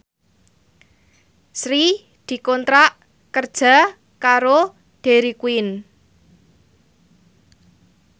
Sri dikontrak kerja karo Dairy Queen